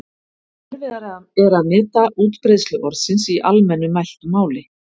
Erfiðara er að meta útbreiðslu orðsins í almennu mæltu máli.